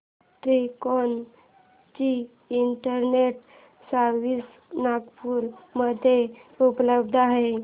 तिकोना ची internet service Nagpur मध्ये उपलब्ध आहे का